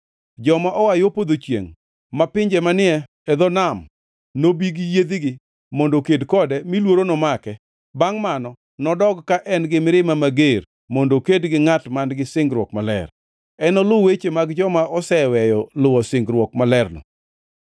Joma oa yo podho chiengʼ mar pinje manie dho nam nobi gi yiedhigi mondo oked kode mi luoro nomake. Bangʼ mano nodog ka en gi mirima mager mondo oked gi ngʼat man-gi singruok maler. Enoluw weche mag joma oseweyo luwo singruok malerno.